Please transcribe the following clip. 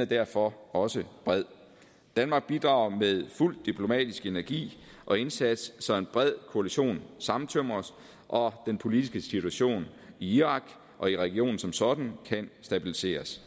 er derfor også bred danmark bidrager med fuld diplomatisk energi og indsats så en bred koalition sammentømres og den politiske situation i irak og i regionen som sådan kan stabiliseres